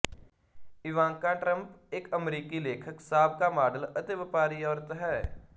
Ivanka Trump ਇੱਕ ਅਮਰੀਕੀ ਲੇਖਕ ਸਾਬਕਾ ਮਾਡਲ ਅਤੇ ਵਪਾਰੀ ਔਰਤ ਹੈ